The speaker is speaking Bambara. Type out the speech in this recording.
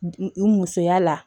N musoya la